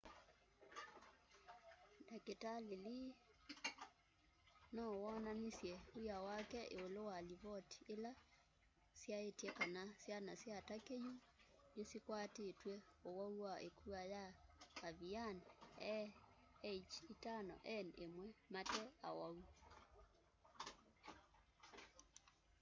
ndakitali lee no wonanisye w'ia wake iulu wa livoti ila syaitye kana syana sya turkey yu nisikwatitw'e ũwau wa ĩkua ya avian a h5n1 mate awau